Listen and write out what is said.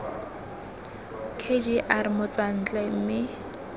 k g r motswantle mme